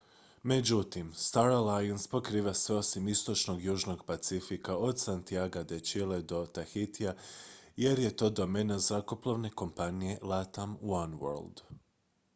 međutim star alliance pokriva sve osim istočnog južnog pacifika od santiaga de chile do tahitija jer je to domena zrakoplovne kompanije latam oneworld